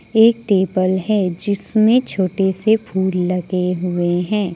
एक टेबल है जिसमें छोटे से फूल लगे हुए हैं।